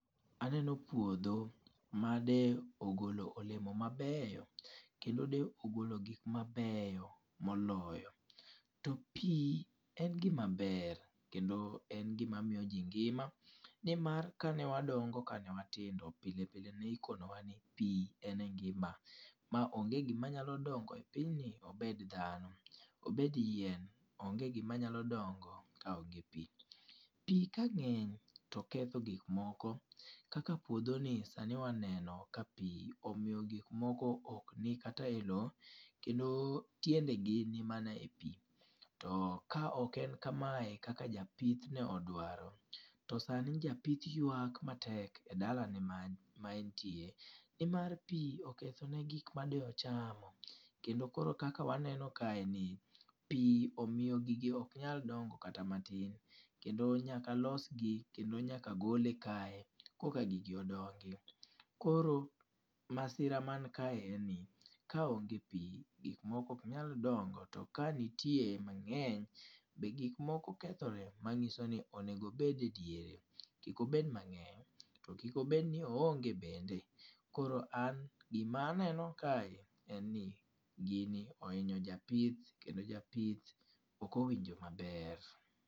Aneno puodho ma de ogolo olemo mabeyo, kendo de ogolo gik ma beyo moloyo. To pi en gima ber, kendo en gima miyo ji ngima, ni mar ka ne wadongo, ka ne watindo, pile pile ne ikonowa ni pi en e ngima. Ma onge gima nyalo dongo e pinyni, obed dhano, obed yien, onge gima nyalo dongo ka onge pi. Pi ka ngény to ketho gik moko. Kaka puodhoni sani waneno ka pi omiyo gik moko ok ni kate e lowo, kendo tiendegi ni mana e pi. To ka ok en kamae kaka japith ne odwaro, to sani japth ywak matek e dala ne man, ma entie. Ni mar pi okethone gik ma de ochamo, kendo koro kaka waneno kae ni, pi omiyo gige ok nyal dongo kata matin. Kendo nyaka los gi, kendo nyaka gole kae koka gigi odongi. Koro masira man kae en ni, ka onge pi gik moko ok nyal dongo, to ka nitiere mangény be gik moko kethore manyiso ni onego obed e diere. Kik obed mangény, to kik obed no oonge bende. Koro an gima aneno kae en ni gini ohinyo japith, kendo japith ok owinjo maber.